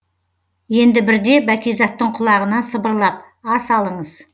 енді бірде бәкизаттың құлағына сыбырлап ас алыңыз